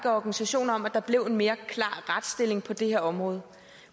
organisationer af at der blev en mere klar retsstilling på det her område